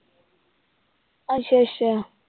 ਅੱਛਾ ਅੱਛਾ।